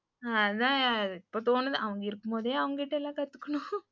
அதான் இப்போ தோணுது அவங்க இருக்கும்போதே அவங்ககிட்ட எல்லாம் கத்துக்கணும் .